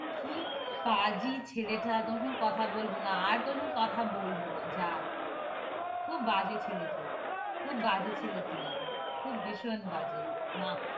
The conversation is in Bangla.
কি পাঁজি ছেলেটা। তোর সঙ্গে কথা বলব না। আর তোর সঙ্গে কথা বলব না। যা। খুব বাজে ছেলে তুই। খুব বাজে ছেলে তুই। খুব ভীষণ বাজে। মা,